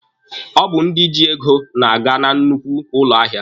Ọ bụ ndị ji ego na-aga na nnukwu ụlọ ahịa.